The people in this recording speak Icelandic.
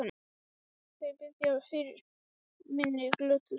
Þau biðja fyrir minni glötuðu sál.